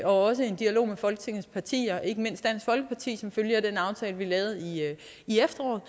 også en dialog med folketingets partier ikke mindst dansk folkeparti som følge af den aftale vi lavede i efteråret